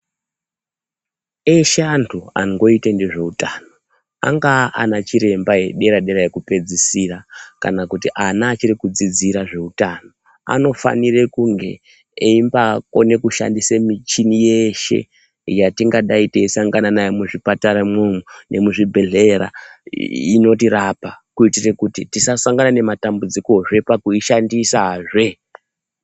Eshe antu angoite nezveutano anga anachiremba edera dera ekupedzisira kana ana achiri kudzidzira zveutano anofanira kunge eyimbakona kushandisa michini yeshe yetingadai teisangana nayo muzvipataramwo nemuzvi bhedhlera inotirapa kuitire kuti tisasangana nematambidzikozve pakuishandisazve.